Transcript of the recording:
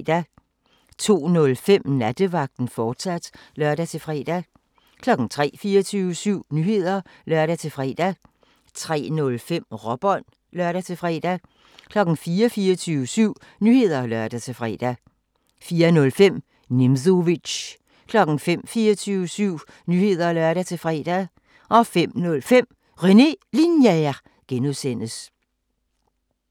02:05: Nattevagten, fortsat (lør-fre) 03:00: 24syv Nyheder (lør-fre) 03:05: Råbånd (lør-fre) 04:00: 24syv Nyheder (lør-fre) 04:05: Nimzowitsch 05:00: 24syv Nyheder (lør-fre) 05:05: René Linjer (G)